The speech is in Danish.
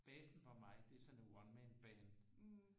Basen for mig det er sådan et one-man band